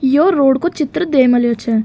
यो रोड को चित्र दे मलयो छे।